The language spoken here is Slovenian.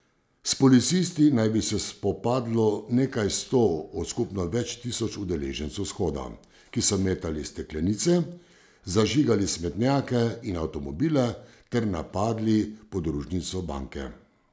S policisti naj bi se spopadlo nekaj sto od skupno več tisoč udeležencev shoda, ki so metali steklenice, zažigali smetnjake in avtomobile ter napadli podružnico banke.